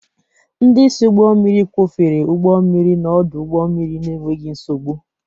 Ndị isi ụgbọ mmiri kwọfere ụgbọ mmiri n'ọdụ ụgbọ mmiri n'enweghị nsogbu.